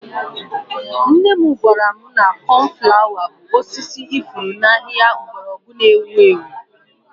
Nne m gwara m na coniflawa bụ osisi ifuru na ahịhịa mgbọrọgwụ na-ewu ewu.